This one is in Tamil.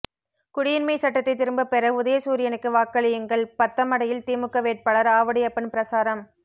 குடியுரிமை சட்டத்தை திரும்பப்பெற உதயசூரியனுக்கு வாக்களியுங்கள் பத்தமடையில் திமுக வேட்பாளர் ஆவுடையப்பன் பிரசாரம்